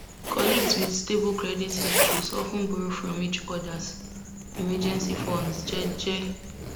colleagues wit stable credit histories of ten borrow from each odas emergency funds jeje